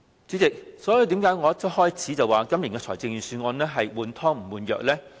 主席，為何我一開始便說今年的預算案是"換湯不換藥"呢？